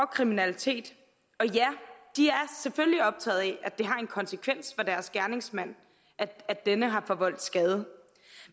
kriminalitet og ja de er selvfølgelig optaget af at det har en konsekvens for deres gerningsmand at denne har forvoldt skade